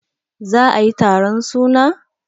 za a yi taron suna?